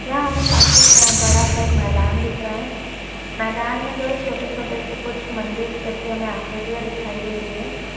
यहाँ हमें काफी सा बड़ा सा एक मैदान दिख रहा है मैदान में जो है छोटे-छोटे से कुछ मंदिर जैसे हमे आकृतियॉ दिखाई दे रही हैं ।